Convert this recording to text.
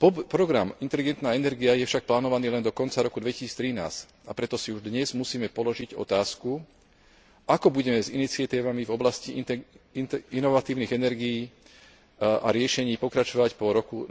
Program inteligentná energia je však plánovaný len do konca roka 2013, a preto si už dnes musíme položiť otázku, ako budeme s iniciatívami v oblasti inovatívnych energií a riešení pokračovať po roku